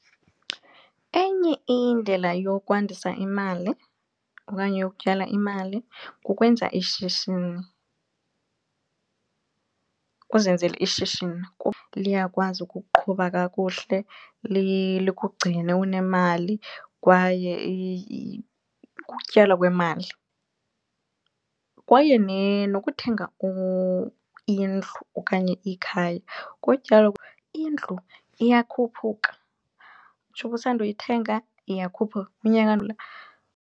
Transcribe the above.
Enye indlela yokwandisa imali okanye yokutyala imali kukwenza ishishini uzenzele ishishini kuba liyakwazi ukuqhuba kakuhle likugcine unemali kwaye ukutyala kwemali. Kwaye nokuthenga indlu okanye ikhaya kutyalo indlu iyakhuphuka njengoba usanda kuyithenga iyakhupha unyaka .